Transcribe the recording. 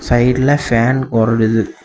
சைடுல பேன் .]